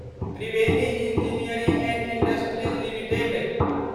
Triveni engineering and industries limited